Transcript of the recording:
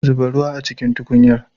Zuba ruwa a cikin tukunyar.